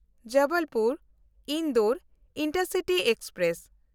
Jabalpur Indore intercity express